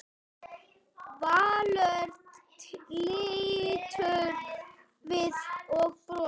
Valur lítur við og brosir.